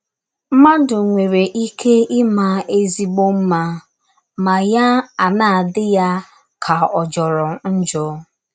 “ Mmadụ nwere ike ịma ezịgbọ mma ma ya ana - adị ya ka ọ̀ jọrọ njọ.